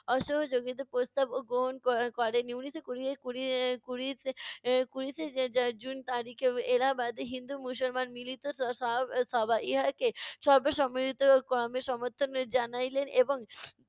অসহযোগীতার প্রস্তাবও গ্রহণ ক~ করে নি। উনিশশো কুড়ি কুড়ি কুড়িতে এর কুড়িতে জুন তারিখে এলাহাবাদে হিন্দু মুসলমান মিলিত স~ সভ~ সভায় ইহাকে সর্বসম্মতিক্রমে সমর্থন জানাইলেন এবং